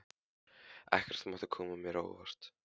Ekkert mátti koma mér á óvart.